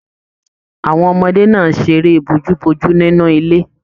Àwọn ọmọdé náà seré bójúbójú nínú ilé.